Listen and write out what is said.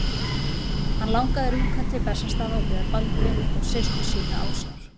Hann langaði að rjúka til Bessastaða og biðja Baldvin og systur sína ásjár.